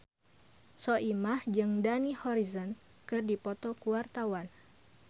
Soimah jeung Dani Harrison keur dipoto ku wartawan